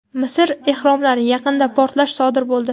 Misr ehromlari yaqinida portlash sodir bo‘ldi.